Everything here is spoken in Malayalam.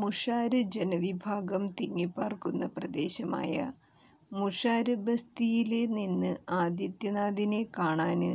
മുഷാര് ജനവിഭാഗം തിങ്ങിപാര്ക്കുന്ന പ്രദേശമായ മുഷാര് ബസ്തിയില് നിന്ന് ആദിത്യനാഥിനെ കാണാന്